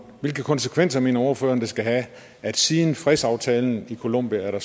hvilke konsekvenser mener ordføreren det skal have at siden fredsaftalen i colombia er der